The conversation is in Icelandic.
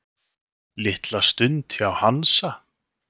Litla stund hjá Hansa